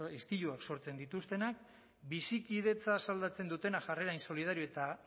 istiluak sortzen dituztenak bizikidetza asaldatzen dutenak jarrera insolidario eta